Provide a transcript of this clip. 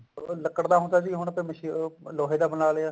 ਉਹ ਲੱਕੜ ਦਾ ਹੁੰਦਾ ਸੀ ਹੁਣ ਉਹ ਲੋਹੇ ਦਾ ਬਣਾ ਲਿਆ